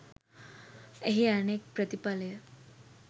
එහි අනෙක් ප්‍රතිඵලය